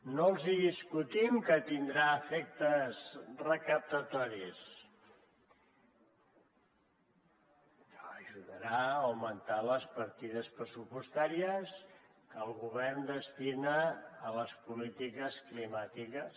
no els discutim que tindrà efectes recaptatoris que ajudarà a augmentar les partides pressupostàries que el govern destina a les polítiques climàtiques